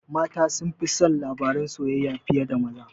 Mata sunfi son labaran soyayya fiye da maza